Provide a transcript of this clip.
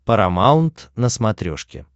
парамаунт на смотрешке